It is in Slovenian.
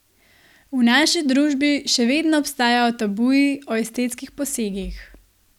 V naši družbi še vedno obstajajo tabuji o estetskih posegih.